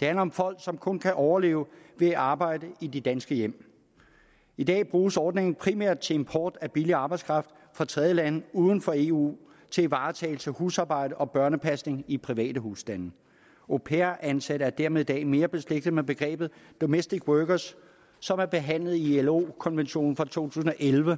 det handler om folk som kun kan overleve ved at arbejde i de danske hjem i dag bruges ordningen primært til import af billig arbejdskraft fra tredjelande uden for eu til varetagelse af husarbejde og børnepasning i private husstande au pair ansatte er dermed i dag mere beslægtet med begrebet domestic workers som er behandlet i ilo konventionen fra to tusind og elleve